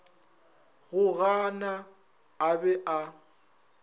go gana a be a